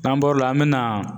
N'an bɔr'o la an bɛ na